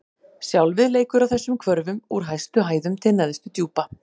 Sjálfið leikur á þessum hvörfum: úr hæstu hæðum til neðstu djúpa.